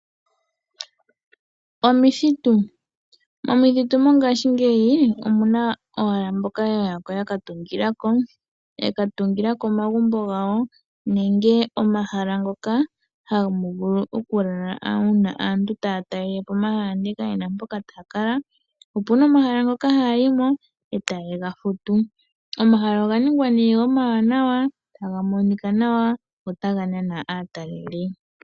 Omithitu, momithitu mongashingeyi omuna owala mboka ya yako yaka tungilako, ya ka tungilako omagumbo gawo nenge omahala ngoka hamu vulu oku lala uuna aantu taya talelepo omahala ndele ka yena mpoka ta yakala. Opuna omahala ngoka haya yimo e taye ga futu, omahala oga ningwa nee omawanawa taga monika nawa go otaga nana aatalelipo.